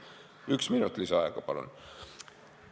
Palun ühe minuti lisaaega!